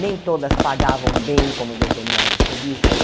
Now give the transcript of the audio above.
Nem todas pagavam bem como determinadas revistas.